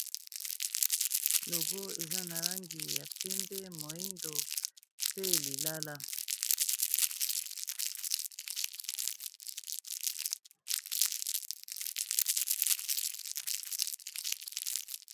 logo eza na rangi ya pembe moindo pe lilala